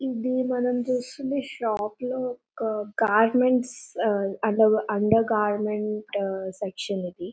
ఇది మనము చూస్తుంది షాప్ లో ఒక గార్మెంట్స్ ఆ అండర్ గార్మెంట్ సెక్షన్ ఇది.